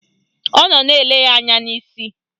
Ọ nọ na-ele ya anya n'isi